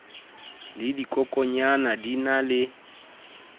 le dikokonyana di na le